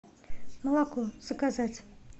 молоко заказать